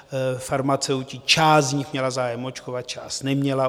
Farmaceuti, část z nich, měla zájem očkovat, část neměla.